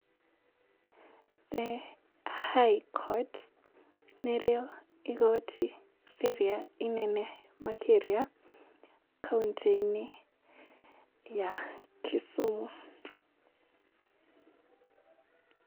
The High Court, nĩ rĩo igoti rĩrĩa inene makĩria, kauntĩ-inĩ ya Kisumu.